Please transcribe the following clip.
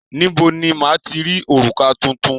Níbo ni máa ti rí òrùka tuntun?